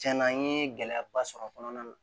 Tiɲɛna n ye gɛlɛyaba sɔrɔ a kɔnɔna na